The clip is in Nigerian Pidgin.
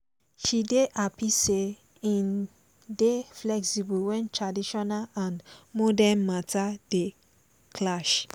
she dey happy say im dey flexible when traditional and modern matter dey clash